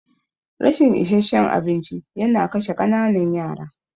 Rashin isasshen abinci yana kashe ƙananan yara.